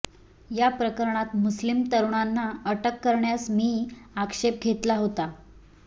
या प्रकरणात मुस्लिम तरुणांना अटक करण्यास मी आक्षेप घेतला होता